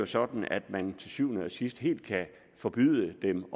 sådan at man til syvende og sidst helt kan forbyde dem